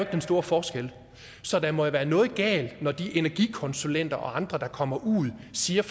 den store forskel så der må jo være noget galt når de energikonsulenter og andre der kommer ud siger